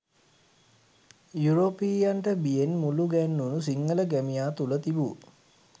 යුරෝපීයයන්ට බියෙන් මුළුගැන්වුණු සිංහල ගැමියා තුළ තිබූ